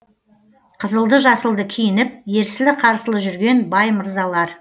қызылды жасылды киініп ерсілі қарсылы жүрген бай мырзалар